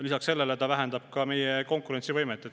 Lisaks sellele see vähendab meie konkurentsivõimet.